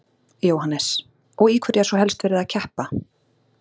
Jóhannes: Og í hverju er svo helst verið að keppa?